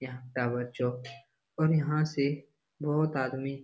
यहाँ टावर चौक और यहां से बहुत आदमी --